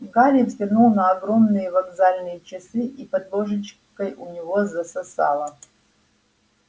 гарри взглянул на огромные вокзальные часы и под ложечкой у него засосало